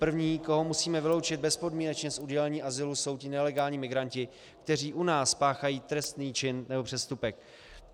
První, koho musíme vyloučit bezpodmínečně z udělení azylu, jsou ti nelegální migranti, kteří u nás spáchají trestný čin nebo přestupek.